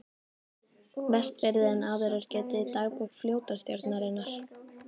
Vestfirði en áður er getið í dagbók flotastjórnarinnar